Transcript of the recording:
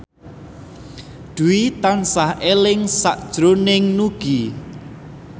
Dwi tansah eling sakjroning Nugie